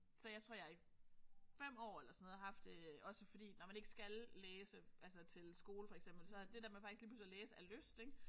Så jeg tror jeg i 5 år eller sådan noget har haft også fordi når man ikke skal læse altså til skole for eksempel så det der med faktisk at læse af lyst ik